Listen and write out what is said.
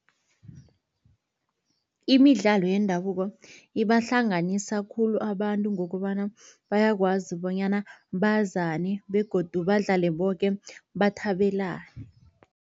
Imidlalo yendabuko ibahlanganisa khulu abantu, ngokobana bayakwazi bonyana bazane begodu badlale boke bathabelane.